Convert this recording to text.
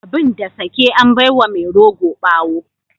Abin da sake an bai wa mai rogo bawo.